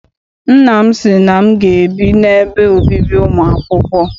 Nna m sị na m ga- ebi n'ebe obibi ụmụ akwụkwọ.